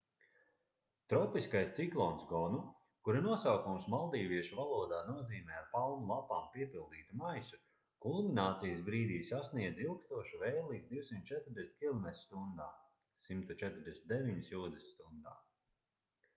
tropiskais ciklons gonu kura nosaukums maldīviešu valodā nozīmē ar palmu lapām piepildītu maisu kulminācijas brīdī sasniedza ilgstošu vēju līdz 240 km/stundā 149 jūdzes/stundā